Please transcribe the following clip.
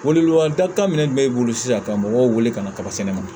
Welewelekan da kan minɛn min bɛ e bolo sisan ka mɔgɔw wele ka na kaba sɛnɛ ma